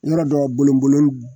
Yɔrɔ dɔ bolonbolon